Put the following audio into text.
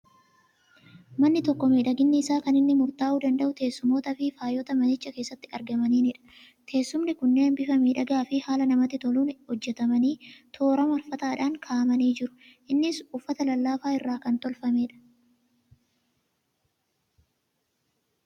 Manni tokko miidhaginni isaa kan inni murtaa'uu danda'u teessumootaa fi faayota manicha keessatti argamaniinidha. Teessumoonni kunneen bifa miidhagaa fi haala namatti toluun hojjetamanii, toora marfataadhaan kaa'amnii jiru. Innis uffata lallaafaa irraa kan tolfamedha.